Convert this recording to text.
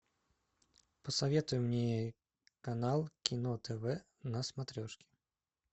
посоветуй мне канал кино тв на смотрешке